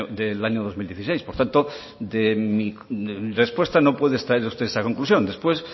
del año dos mil dieciséis por tanto de mi respuesta no puede extraer usted esa conclusión después